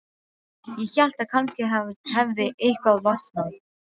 Ég hélt að kannski hefði eitthvað losnað.